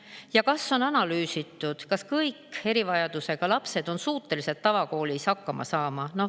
Ja kas on analüüsitud, kas kõik erivajadusega lapsed on suutelised tavakoolis hakkama saama?